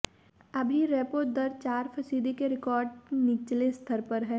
अभी रेपो दर चार फीसदी के रिकॉर्ड निचले स्तर पर है